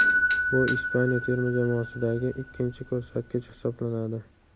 Bu Ispaniya terma jamoasidagi ikkinchi ko‘rsatkich hisoblanadi.